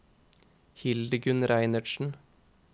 Hildegunn Reinertsen